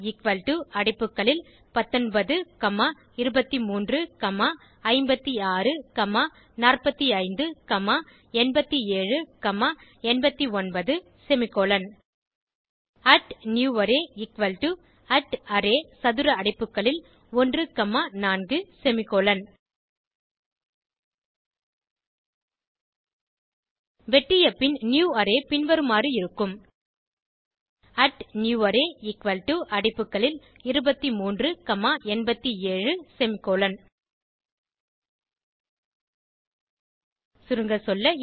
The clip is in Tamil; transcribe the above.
array அடைப்புகளில் 19 comma 23 comma 56 comma 45 comma 87 comma 89 semicolon newArray array சதுர அடைப்புகளில் 1 காமா 4 செமிகோலன் வெட்டியபின் நியூவரே பின்வருமாறு இருக்கும் newArray அடைப்புகளில் 23 காமா 87 செமிகோலன் சுருங்கசொல்ல